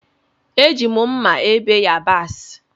Eji m mmá ebe yabasi.